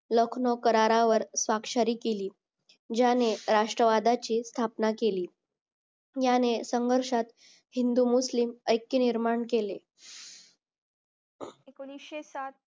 लखनौ करारावर साक्षरी केली ज्याने राष्ट्रवादाची स्थापना केली याने संघर्षात हिंदू मुस्लिम ऐक्य निर्माण केली एकोणीशे सात